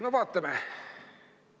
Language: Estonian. No vaatame.